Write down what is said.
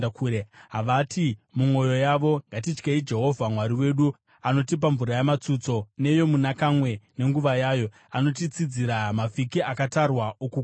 Havati mumwoyo yavo, ‘Ngatityei Jehovha Mwari wedu, anotipa mvura yaMatsutso neyoMunakamwe nenguva yayo, anotitsidzira mavhiki akatarwa okukohwa.’